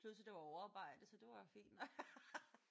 Plus at det var overarbejde så det var jo fint nok